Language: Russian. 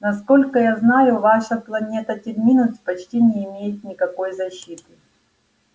насколько я знаю ваша планета терминус почти не имеет никакой защиты